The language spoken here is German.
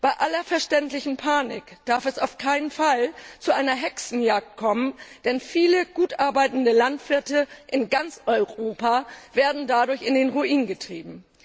Bei aller verständlichen Panik darf es auf keinen Fall zu einer Hexenjagd kommen, denn viele gut arbeitende Landwirte in ganz Europa werden dadurch in den Ruin getrieben.